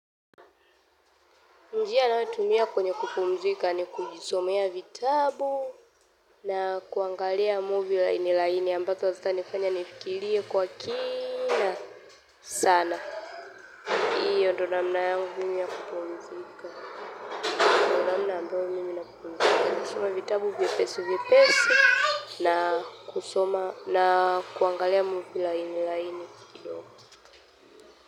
Njia ninayotumia kwenye kupumzika ni kujisomea vitabu na kuangalia movie laini laini ambazo hazitanifanya nifikirie kwa kina sana hiyo ndio namna yangu ya kupumzika namna ambayo mimi natumia kupumzika. Kusoma vitabu vyepesi vyepesi na kusoma na kuangalia muvi laini laini.